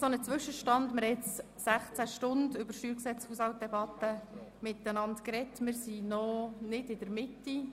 Ein Zwischenstand: Wir haben nun 16 Stunden miteinander über das StG und den Haushalt gesprochen, befinden uns aber noch nicht in der Mitte.